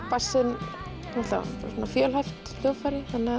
bassinn er fjölhæft hljóðfæri þannig